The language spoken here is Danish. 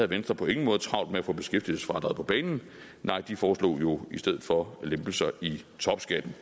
venstre på ingen måde travlt med at få beskæftigelsesfradraget på banen nej de foreslog jo i stedet for lempelser i topskatten